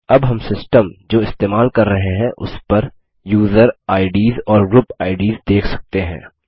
अब हम सिस्टम जो इस्तेमाल कर रहे हैं उस पर यूजर आईडीएस और ग्रुप आईडीएस देख सकते हैं